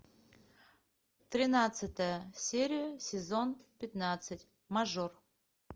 тринадцатая серия сезон пятнадцать мажор